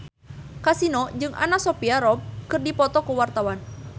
Kasino jeung Anna Sophia Robb keur dipoto ku wartawan